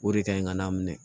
O de ka ɲi ka n'a minɛ